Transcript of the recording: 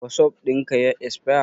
Wasup ɗin ka ya esfaya?